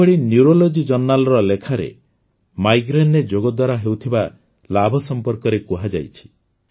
ସେହିଭଳି ନ୍ୟୁରୋଲୋଜି ଜର୍ଣ୍ଣାଲର ଲେଖାରେ ମାଇଗ୍ରେନ୍ରେ ଯୋଗ ଦ୍ୱାରା ହେଉଥିବା ଲାଭ ସମ୍ପର୍କରେ କୁହାଯାଇଛି